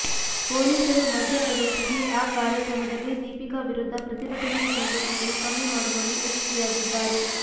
ಪೊಲೀಸರು ಮಧ್ಯ ಪ್ರವೇಶಿಸಿ ಆ ಕಾರ್ಯಕ್ರಮದಲ್ಲಿ ದೀಪಿಕಾ ವಿರುದ್ದ ಪ್ರತಿಭಟನೆಯ ತೀವ್ರತೆಯನ್ನು ಕಮ್ಮಿ ಮಾಡುವಲ್ಲಿ ಯಶಸ್ವಿಯಾಗಿದ್ದಾರೆ